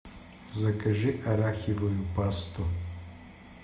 закажи арахивую пасту